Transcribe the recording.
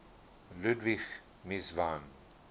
ludwig mies van